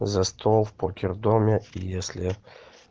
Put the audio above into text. за стол в покердоме если